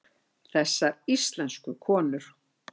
Þessar íslensku konur!